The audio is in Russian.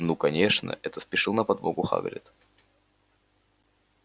ну конечно это спешил на подмогу хагрид